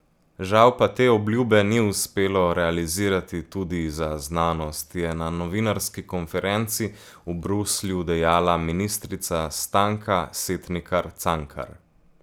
Žal pa te obljube ni uspelo realizirati tudi za znanost, je na novinarski konferenci v Bruslju dejala ministrica Stanka Setnikar Cankar.